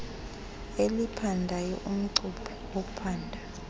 eliphandayo umcuphi ophanda